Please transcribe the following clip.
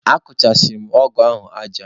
Akụchasịrị m ọgụ ahụ aja.